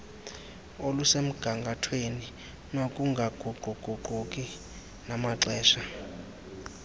olusemgangathweni nokungaguquguquki namaxesha